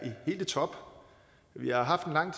helt i top vi har haft en lang